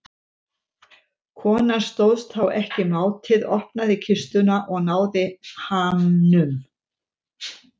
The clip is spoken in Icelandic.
Konan stóðst þá ekki mátið, opnaði kistuna og náði hamnum.